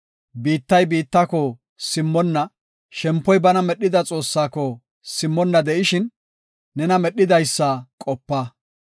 biittay biittako simmonna de7ishin, shempoy bana immida Xoossaako simmonna de7ishin, nena medhidaysa qopa.